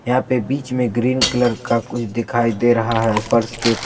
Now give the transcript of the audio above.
यहां पे बीच में ग्रीन कलर का कुछ दिखाई दे रहा है फर्श के--